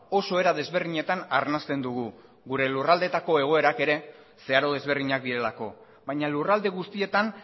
oso era desberdinetan arnasten dugu gure lurraldeetako egoerak ere zeharo desberdinak direlako baina lurralde guztietan